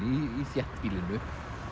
þéttbýlinu